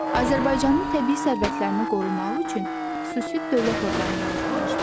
Azərbaycanın təbii sərvətlərini qorumaq üçün xüsusi dövlət orqanı yaradılmışdı.